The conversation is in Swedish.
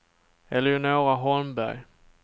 Eleonora Holmberg